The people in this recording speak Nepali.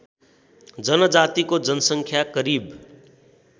जनजातिको जनसङ्ख्या करिब